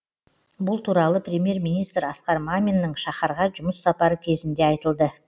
бұл туралы премьер министр асқар маминның шахарға жұмыс сапары кезінде айтылды